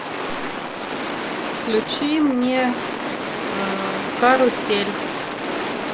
включи мне карусель